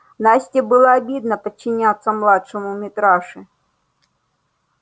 насте было обидно подчиняться младшему митраше